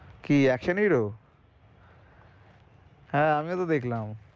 কি action hero? হ্যাঁ আমিও তো দেখলাম।